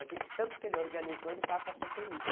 É que de tanto que ele organizou, ele passa a ser temido.